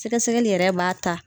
Sɛgɛsɛgɛli yɛrɛ b'a ta